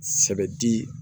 Sɛbɛ di